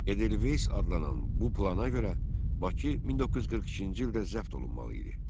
Edelveys adlanan bu plana görə, Bakı 1942-ci ildə zəbt olunmalı idi.